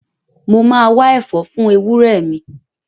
Mo ma wá ẹ̀fọ́ fún ewúrẹ́ mi